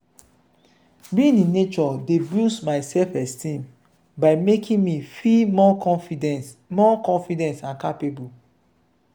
being in nature dey boost my self-esteem by making me feel more confident more confident and capable.